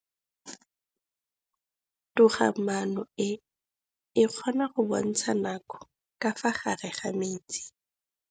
Toga-maanô e, e kgona go bontsha nakô ka fa gare ga metsi.